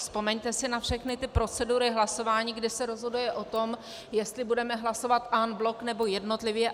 Vzpomeňte si na všechny ty procedury hlasování, kdy se rozhoduje o tom, jestli budeme hlasovat en bloc, nebo jednotlivě.